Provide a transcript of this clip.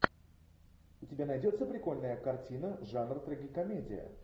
у тебя найдется прикольная картина жанр трагикомедия